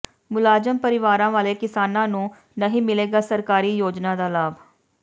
ਮੁਲਾਜ਼ਮ ਪਰਿਵਾਰਾਂ ਵਾਲੇ ਕਿਸਾਨਾਂ ਨੂੰ ਨਹੀਂ ਮਿਲੇਗਾ ਸਰਕਾਰੀ ਯੋਜਨਾ ਦਾ ਲਾਭ